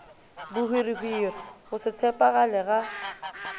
bohwirihwiri go se tshephagale ga